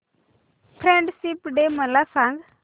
friendship day मला सांग